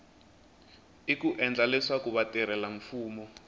i ku endla leswaku vatirhelamfumo